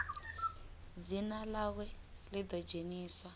dzina ḽawe ḽi ḓo dzheniswa